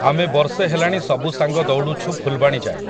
ଆମେ ବର୍ଷେ ହେଲାଣି ସବୁ ସାଙ୍ଗ ଦଉଡ଼ୁଛୁ ଫୁଲବାଣୀ ଯାଏଁ ।